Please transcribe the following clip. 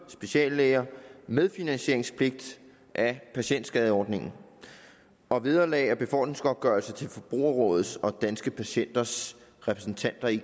og speciallæger medfinansieringspligt af patientskadeordningen og vederlag og befordringsgodtgørelse til forbrugerrådets og danske patienters repræsentanter i